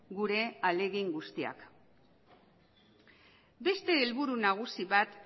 gure ahalegin guztiak beste helburu nagusi bat